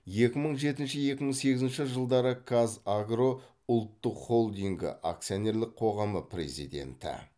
екі мың жетінші екі мың сегізінші жылдары қазагро ұлттық холдингі акционерлік қоғамы президенті